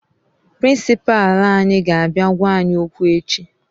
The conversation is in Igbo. Prịnsịpa anyị ga-abịa gwa anyị okwu echi